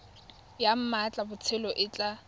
ya mmatla botshabelo e tla